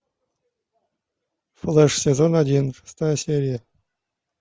флэш сезон один шестая серия